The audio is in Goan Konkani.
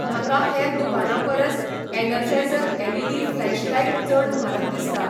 म्हाका हेर दुकानां परस एनर्जायझर एलईडी फ्लॅशलायट चड म्हारग दिसता